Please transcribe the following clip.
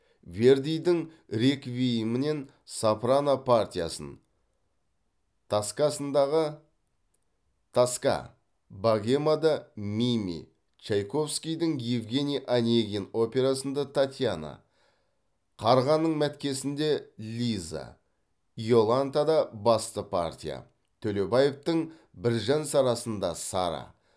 вердидің реквиемінен сопрано партиясын тоскасындағы тоска богемада мими чайковскийдің евгений онегин операсында татьяна қарғаның мәткесінде лиза иолантада басты партия төлебаевтың біржан сарасында сара